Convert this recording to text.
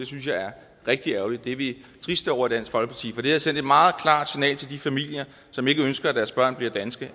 synes er rigtig ærgerligt det er vi triste over i dansk folkeparti for det havde sendt et meget klart signal til de familier som ikke ønsker at deres børn bliver danske